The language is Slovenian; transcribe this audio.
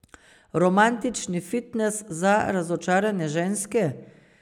Romantični fitnes za razočarane ženske?